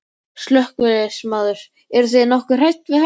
Slökkviliðsmaður: Eruð þið nokkuð hrædd við þetta?